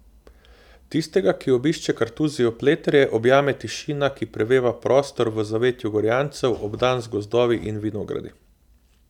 Tistega, ki obišče Kartuzijo Pleterje, objame tišina, ki preveva prostor v zavetju Gorjancev, obdan z gozdovi in vinogradi.